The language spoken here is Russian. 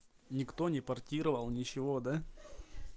никто не портировал ничего да